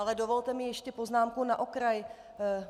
Ale dovolte mi ještě poznámku na okraj.